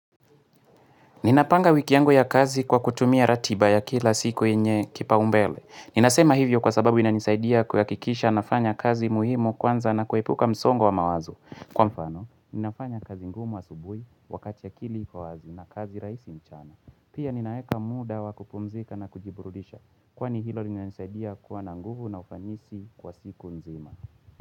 Ninapanga wiki yangu ya kazi kwa kutumia ratiba ya kila siku yenye kipaumbele. Ninasema hivyo kwa sababu inanisaidia kuhakikisha nafanya kazi muhimu kwanza na kuepuka msongo wa mawazo. Kwa mfano, ninafanya kazi ngumu asubuhi wakati akili iko wazi na kazi rahisi mchana. Pia ninaeka muda wakupumzika na kujiburudisha kwani hilo linanisaidia kuwa na nguvu na ufanisi kwa siku nzima.